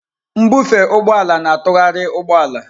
Mbufe ụgbọ ala na-atụgharị ụgbọ ala.